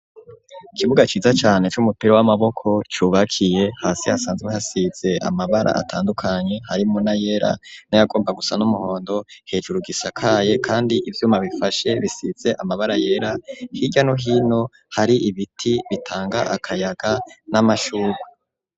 Kibuga ciza cane c'umupira w'amaboko cubakiye hasi hasanzwe hasize amabara atandukanye hari muna yera n'ayagomba gusa n'umuhondo hejura gisakaye kandi ivyuma bifashe bisize amabara yera hirya no hino hari ibiti bitanga akayaga n'amashurwe.